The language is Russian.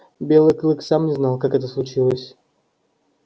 белый клык сам не знал как это случилось